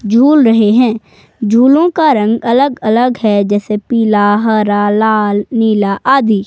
झूल रहे हैं झूलो का रंग अलग अलग है जैसे पीला हरा लाल नीला आदि।